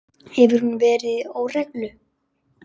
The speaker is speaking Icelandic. Hefur hún verið í óreglu?